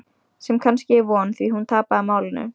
Sem kannski er von, því hún tapaði málinu.